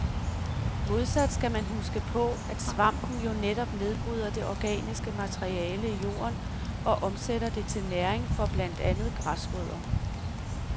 Modsat skal man huske på, at svampen jo netop nedbryder det organiske materiale i jorden og omsætter det til næring for blandt andet græsrødder.